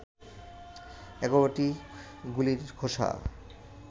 ১১টি গুলির খোসা